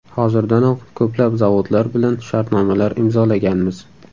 Hozirdanoq ko‘plab zavodlar bilan shartnomalar imzolaganmiz.